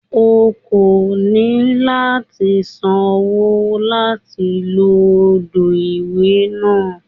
O kò ní láti sanwó láti lo odò ìwẹ̀ náà.